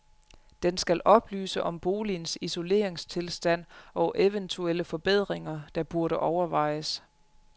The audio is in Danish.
Den skal oplyse om boligens isoleringstilstand og eventuelle forbedringer, der burde overvejes.